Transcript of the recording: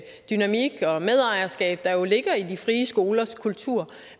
dynamik og medejerskab der jo ligger i de frie skolers kultur